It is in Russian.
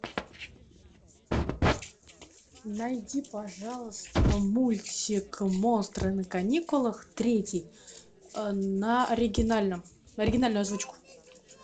найди пожалуйста мультик монстры на каникулах третий на оригинальном оригинальную озвучку